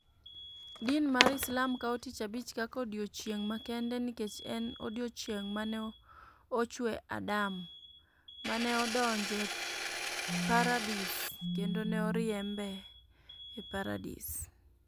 Din mar Islam kawo Tich Abich kaka odiechieng' makende nikech en e odiechieng' ma ne ochwe Adam, ma ne odonjo e Paradis, kendo ne oriembe e Paradis.